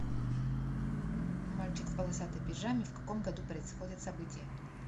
мальчик в полосатой пижаме в каком году происходят события